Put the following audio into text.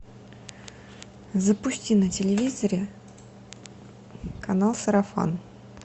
запусти на телевизоре канал сарафан